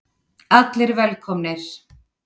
ALLIR VELKOMNIR!